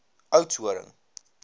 oudtshoorn